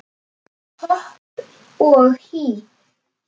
Hopp og hí